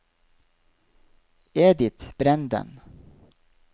Edith Brenden